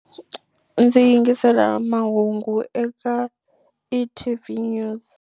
Ndzi yingisela mahungu eka e_T_V News.